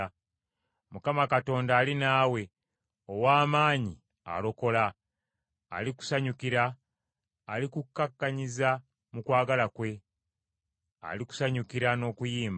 Mukama Katonda ali naawe, ow’amaanyi alokola: alikusanyukira, alikukkakkanyiza mu kwagala kwe, alikusanyukira n’okuyimba.”